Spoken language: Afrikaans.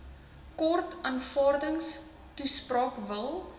kort aanvaardingstoespraak wil